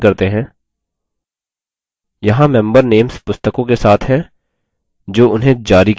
यहाँ member names पुस्तकों के साथ हैं जो उन्हें जारी की गयी हैं